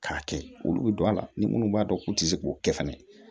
K'a kɛ olu bɛ don a la ni munnu b'a dɔn k'u tɛ se k'o kɛ fɛnɛ